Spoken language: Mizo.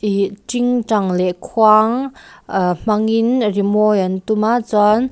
ihh tingtang leh khuang aah hmang in rimawi an tum a chuan--